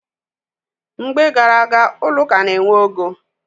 Mgbe gar aga, ụlọ ụka na-enwe ogo.